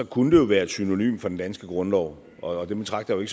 kunne det jo være et synonym for den danske grundlov og den betragter jeg